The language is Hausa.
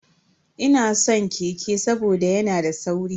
Ina san keke saboda yana da sauri.